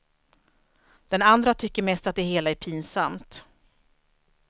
Den andra tycker mest att det hela är pinsamt.